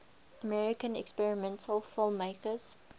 american experimental filmmakers